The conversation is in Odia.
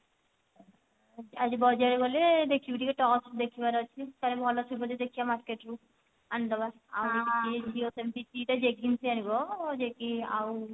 ଆଜି ବଜାର ଗଲେ ଦେଖିବୀ ଟିକେ tops ଦେଖିବାର ଅଛି କଲେ ଭଲ ଥିବ ଦେଖିବା market ରେ ଆଣିଦେବା ଆଉ ଝିଅ ସେମତି ଦିଟା jeggings ଆଣିବ ଯେ କି ଆଉ